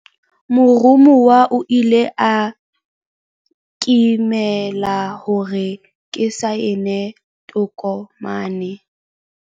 Moromuwa o ile a nkemela hore ke saene tokomane.